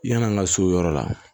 Yann'an ka s'o yɔrɔ la